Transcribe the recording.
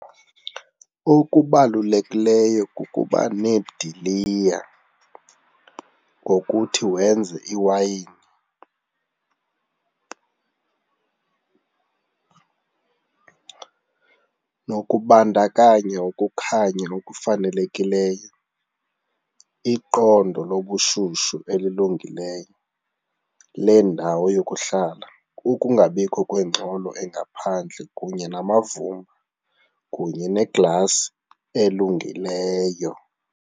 Okubalulekileyo kukuba neediliya ngokuthi wenze iwayini nokubandakanya ukukhanya okufanelekileyo, iqondo lobushushu elilungileyo lendawo yokuhlala, ukungabikho kwengxelo engaphandle kunye namavumba kunye neglasi elungileyo.